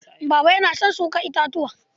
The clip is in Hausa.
Baba yana son shuka itatuwa.